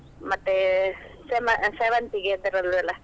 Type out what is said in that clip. ಮತ್ತೆ ಸೇ~ ಸೇವಂತಿಗೆ ಆತರದ್ದು ಎಲ್ಲಾ.